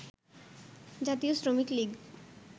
জাতীয় শ্রমিকলীগ